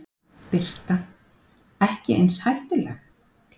Birta: Ekki eins hættuleg?